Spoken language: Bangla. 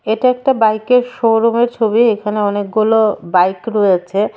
এটা একটা বাইকের শোরুমের ছবি এখানে অনেকগুলো বাইক রয়েছে.